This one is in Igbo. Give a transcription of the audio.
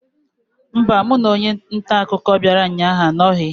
Mba, mụ na onye nta akụkọ bịara ụnyaahụ anọghị.